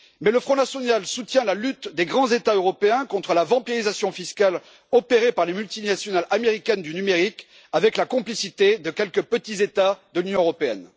Mais le Front national soutient la lutte des grands États européens contre la vampirisation fiscale opérée par les multinationales américaines du numérique avec la complicité de quelques petits États de l'Union européenne!